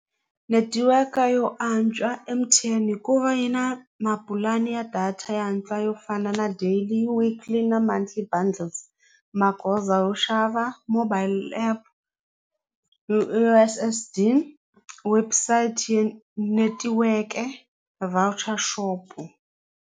Netiweke yo antswa M_T_N hikuva yi na mapulani ya data yo antswa yo fana na daily weekly na montly bundles magoza yo xava mobile app U_S_S_D website netiweke voucher shop-u.